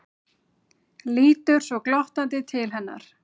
Lítur svo glottandi til hennar.